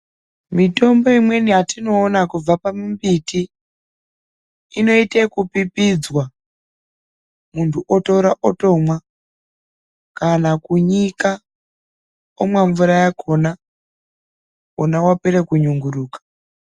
Mitombo imweni yatinoona kubva pamimbiti, inoite wokupipidzwa. Muntu otora, otomwa kana kunyika, omwa mvura yakona, ona wapera kunyunguruka.